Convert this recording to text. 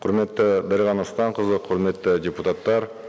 құрметті дариға нұрсұлтанқызы құрметті депутаттар